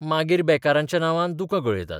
मागीर बेकारांच्या नांवान दुकां गळयतात.